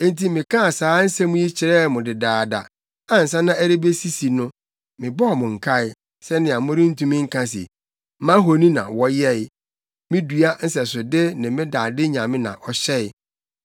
Enti, mekaa saa nsɛm yi kyerɛɛ mo dedaada ansa na ɛrebesisi no, mebɔɔ mo nkae sɛnea morentumi nka se, ‘Mʼahoni na wɔyɛe: me dua nsɛsode ne me dade nyame na ɔhyɛe.’